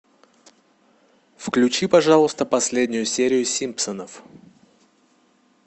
включи пожалуйста последнюю серию симпсонов